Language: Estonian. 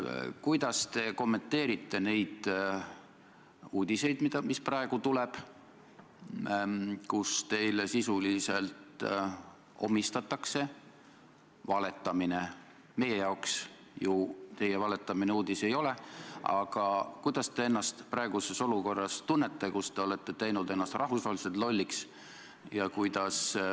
Kuidas te kommenteerite neid uudiseid, mis praegu tulevad, kus teile sisuliselt omistatakse valetamine – meie jaoks teie valetamine ju mingi uudis ei ole –, ja kuidas te ennast tunnete praeguses olukorras, kus te olete teinud ennast rahvusvaheliselt lolliks?